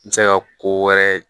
N bɛ se ka ko wɛrɛ